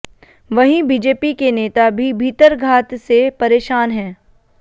वहीं बीजेपी के नेता भी भीतरघात से परेशान हैं